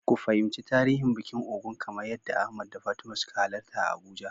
Ku fahimci tarihin bikin Ògún kamar yadda Ahmad da Fatima suka halarta a Abuja.